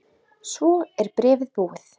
Svo er bréfið búið